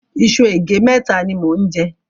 Iṣu ègé mẹ́ta ni mò ń jẹ.